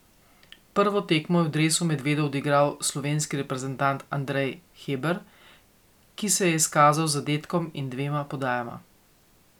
Prvo tekmo je v dresu medvedov odigral slovenski reprezentant Andrej Hebar, ki se je izkazal z zadetkom in dvema podajama.